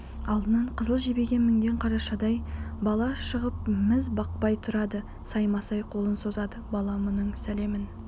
алдынан қызыл жебеге мінген қаршадай бала шығып міз бақпай тұрады саймасай қолын созады бала мұның сәлемін